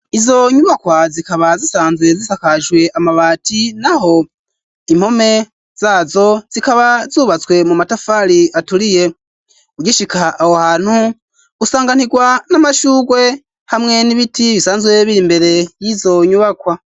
Izo nyubakwa ,zikaba zisanzwe zisakajwe amabati, naho impome zazo, zikaba zubatswe mu matafari aturiye, ugishika aho hantu usanganirwa n'amashugwe, hamwe n'ibiti bisanzwe biri mbere y'izo nyubakwa.